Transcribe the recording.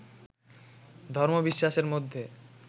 ধর্মবিশ্বাসের মধ্যে